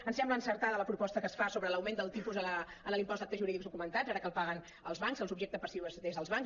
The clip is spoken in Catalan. ens sembla encertada la proposta que es fa sobre l’augment del tipus en l’impost d’actes jurídics documentats ara que el paguen els bancs el subjecte passiu són els bancs